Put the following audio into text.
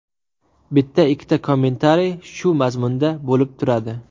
Bitta-ikkita kommentariy shu mazmunda bo‘lib turadi.